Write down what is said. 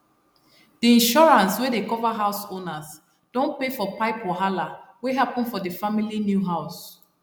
d insurance wey dey cover house owners don pay for pipe wahala wey happen for d family new house